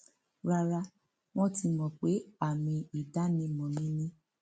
rara wọn ti mọ pé àmì ìdánimọ mi ni